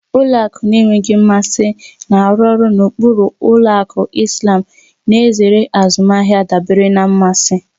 Ụlọ akụ na-enweghị mmasị na-arụ ọrụ na ụkpụrụ ụlọ akụ Islàm, na-ezere azụmahịa dabere na mmasị.